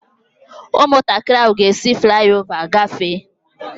Ụmụntakịrị ahụ ga-esi fulái ová gafee